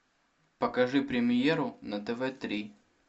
покажи премьеру на тв три